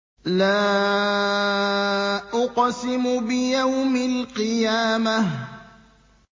لَا أُقْسِمُ بِيَوْمِ الْقِيَامَةِ